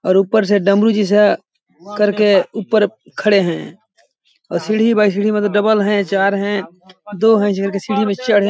और ऊपर से डमरू जैसा करके ऊपर खड़े है और सीढ़ी बाय सीढ़ी मतलब डबल है चार है दो है ऐसे करके सीढ़ी में चढ़े --